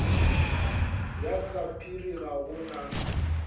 ya sapphire ga go na